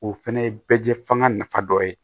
O fɛnɛ ye bɛɛ jɛ fanga nafa dɔ ye